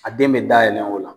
A den be dayɛlɛn o la.